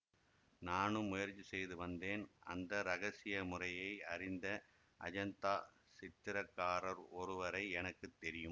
நானும் முயற்சி செய்து வந்தேன் அந்த இரகசிய முறையை அறிந்த அஜந்தா சித்திரக்காரர் ஒருவரை எனக்கு தெரியும்